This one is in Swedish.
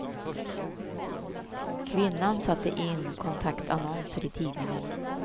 Kvinnan satte in kontaktannonser i tidningarna.